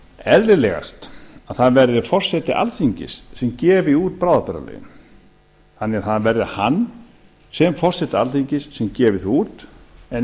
eðlilegast að það verði forseti alþingis sem gefi út bráðabirgðalögin þannig að það verði hann sem forseti alþingis sem gefi þau út en